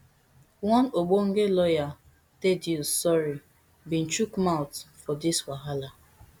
one ogbonge lawyer thaddeus sory bin chook mouth for dis wahala